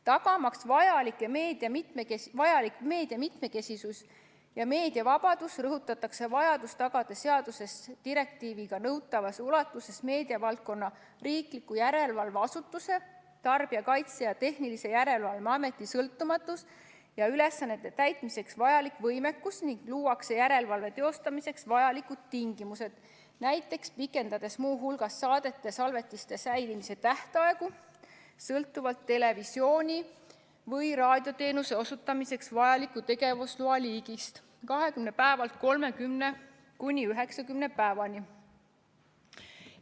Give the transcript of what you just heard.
Tagamaks vajalik meedia mitmekesisus ja meediavabadus, rõhutatakse vajadust tagada seaduses direktiiviga nõutavas ulatuses meediavaldkonna riikliku järelevalveasutuse, Tarbijakaitse ja Tehnilise Järelevalve Ameti sõltumatus ja ülesannete täitmiseks vajalik võimekus ning luuakse järelevalve teostamiseks vajalikud tingimused, näiteks pikendades muu hulgas saadete salvestiste säilitamise tähtaegu sõltuvalt televisiooni- või raadioteenuse osutamiseks vajaliku tegevusloa liigist 20 päevalt 30–90 päevani.